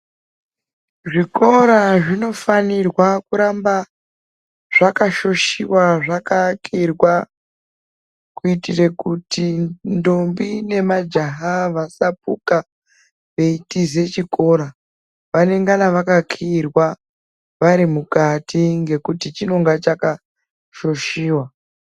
Zvikora zvinofanirwa kuramba zvakashoshiva zvakavakirwa. Kuitire kuti ndombi nemajaha vasapuka veitize chikora vanengana vakakiirwa vari mukati ngekuti chinonga chakashoshiva.